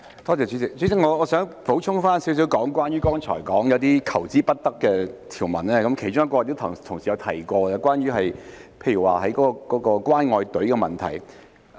代理主席，我想補充少許關於剛才所說那些求之不得的條文，其中一項同事亦有提及，是關於"關愛隊"的問題。